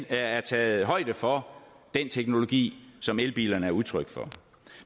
er taget højde for den teknologi som elbilerne er udtryk for